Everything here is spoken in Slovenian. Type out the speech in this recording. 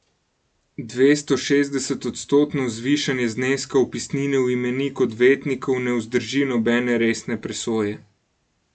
Dvestošestdesetodstotno zvišanje zneska vpisnine v imenik odvetnikov ne vzdrži nobene resne presoje.